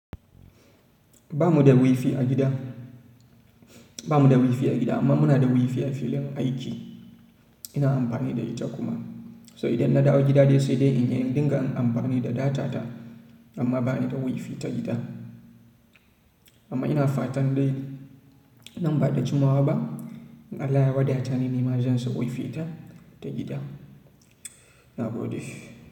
Ba mu da wifi a gida, ba mu da wifi a gida amma muna da wifi a filin aiki. Ina amfani da ita kuma. To idan na dawo gida dai sai dai in dinga amfani da data ta amma ba ni da wifi ta gida. Amma ina fatan dai nan ba da jimawa ba in Allah ya wadata ni nima zan sa wifi ta, ta gida. Na gode.